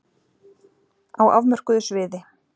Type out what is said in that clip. Á afmörkuðu sviði.